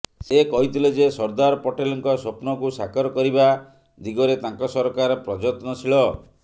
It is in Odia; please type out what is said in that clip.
ସେ କହିଥିଲେ ଯେ ସର୍ଦ୍ଦାର ପଟେଲଙ୍କ ସ୍ୱପ୍ନକୁ ସାକାର କରିବା ଦିଗରେ ତାଙ୍କ ସରକାର ପ୍ରଜତ୍ନଶୀଳ